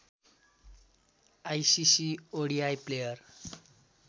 ICC ODI player